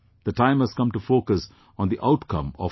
The time has come to focus on the outcome of it